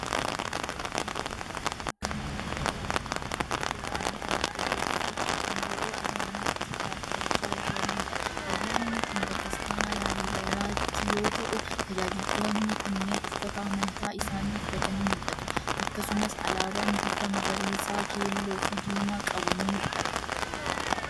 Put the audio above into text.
Suuraa kana irratti kan argamu amantootaafi tajaajiltoota amantaa Ortodoksii kan yeroo ayyaanaatti faarfachaa jiraniidha. Ayyaanni kun bataskaana Laalibelaatti yoo ta'u, tajaajiltoonni kunneen uffata amantaa isaanii uffatanii mul'atu. Akkasumas alaabaan bifa magariisa, keelloofi diimaa qabu ni mul'ata.